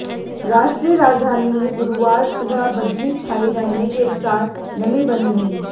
राष्ट्रीय राजधानी में गुरुवार सुबह बदली छाई रहने के साथ नमी बनी रही